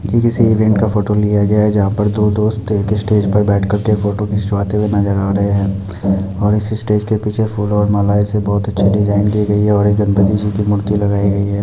ये किसी इवेंट का फोटो लिया गया है जहाँ पर दो दोस्त स्टेज पर बैठे कर के फोटो खिंचवाते हुए नजर आ रहे हैं और स्टेज के पीछे फूलों और मालाओं से बहुत अच्छी डिज़ाइन की गई है और एक गणपति जी की मूर्ती लगाई गई है।